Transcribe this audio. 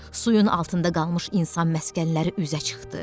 Suyun altında qalmış insan məskənləri üzə çıxdı.